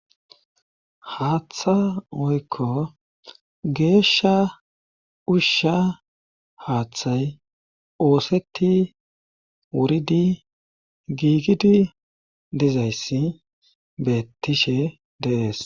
aaththa oykko geeshsha ushsha haaththay ooseti wuridi giigidi dizayssi bettishe dees.